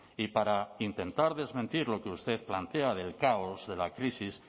y para intentar desmentir lo que usted plantea del caos de la crisis